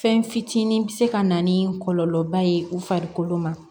Fɛn fitinin bɛ se ka na ni kɔlɔlɔba ye u farikolo ma